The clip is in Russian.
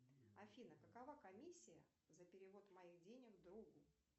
афина какова комиссия за перевод моих денег другу